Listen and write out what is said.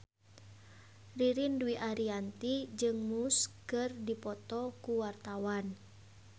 Ririn Dwi Ariyanti jeung Muse keur dipoto ku wartawan